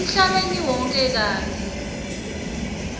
emhlabeni wonkhe kantsi